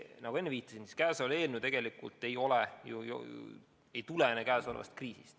Nagu ma enne viitasin, see eelnõu ei tulene käesolevast kriisist.